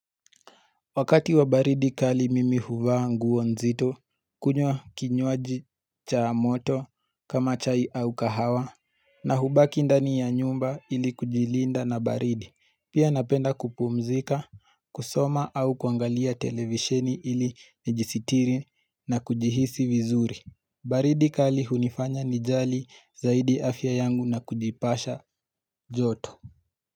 Wakati wa baridi kali mimi huvaa nguo nzito kunywa kinywaji cha moto kama chai au kahawa na hubaki ndani ya nyumba ili kujilinda na baridi. Pia napenda kupumzika, kusoma au kuangalia televiseni ili nijisitiri na kujihisi vizuri. Baridi kali hunifanya nijali zaidi afya yangu na kujipasha joto.